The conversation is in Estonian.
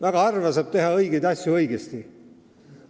Väga harva saab teha õigeid asju õigesti.